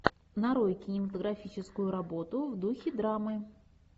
нарой кинематографическую работу в духе драмы